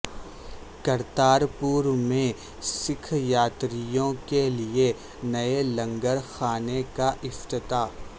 کرتار پور میں سکھ یاتریوں کے لیے نئے لنگر خانے کا افتتاح